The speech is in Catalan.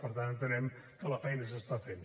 per tant entenem que la feina s’està fent